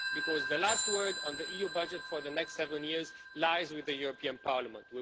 Because the last word on the EU budget for the next seven years lies with the European Parliament.